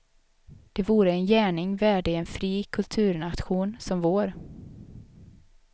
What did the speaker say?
Det vore en gärning värdig en fri kulturnation som vår.